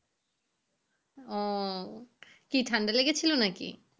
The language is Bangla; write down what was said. ও ও কি ঠান্ডা লেগে ছিল নাকি?